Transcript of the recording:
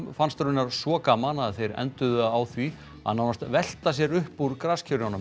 fannst raunar svo gaman að þeir enduðu á því að nánast velta sér upp úr